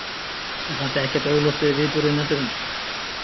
Mér fannst ekkert augljóst við viðburði næturinnar.